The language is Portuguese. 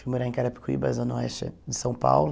Fui morar em Carapicuíba, Zona Oeste de São Paulo.